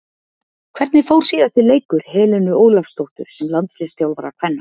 Hvernig fór síðasti leikur Helenu Ólafsdóttur sem landsliðsþjálfari kvenna?